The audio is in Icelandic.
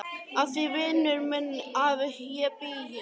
Af því vinur minn að ég bý hér.